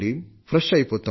fresh అయిపోతాం